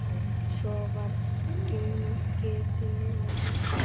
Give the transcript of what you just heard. Svo var gengið til veislu.